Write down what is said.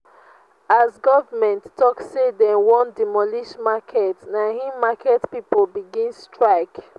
as government tok sey dem wan demolish market na im market pipo begin strike.